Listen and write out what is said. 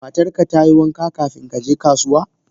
Matarka ta yi wanka kafin ka je kasuwa?